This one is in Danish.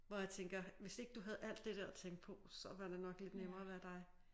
Hvor jeg tænker hvis ikke du havde alt det der at tænke på så var det nok lidt nemmere at være dig